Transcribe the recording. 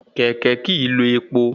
Kẹ̀kẹ́ kìí lò epo